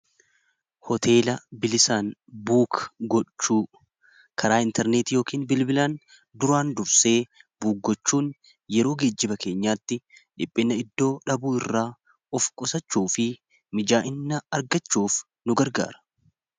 Hoteela bilisaan buuk gochuu karaa intarneet yookiin bilbilaan duraan dursee buuggochuun yeroo gejjiba keenyaatti dhiphina iddoo dhabuu irraa of qosachuu fi mijaa'ina argachuuf nu gargaara.